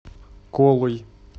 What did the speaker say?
колой